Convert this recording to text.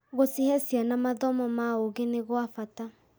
Gũcihe ciana mathomo ma ũũgĩ nĩ gwa bata.